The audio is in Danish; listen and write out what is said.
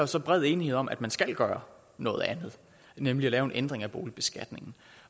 så bred enighed om at man skal gøre noget andet nemlig at lave en ændring af boligbeskatningen